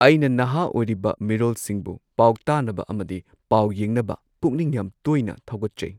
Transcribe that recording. ꯑꯩꯅ ꯅꯍꯥ ꯑꯣꯏꯔꯤꯕ ꯃꯤꯔꯣꯜꯁꯤꯡꯕꯨ ꯄꯥꯎ ꯇꯥꯅꯕ ꯑꯃꯗꯤ ꯄꯥꯎ ꯌꯦꯡꯅꯕ ꯄꯨꯛꯅꯤꯡ ꯌꯥꯝ ꯇꯣꯏꯅ ꯊꯧꯒꯠꯆꯩ꯫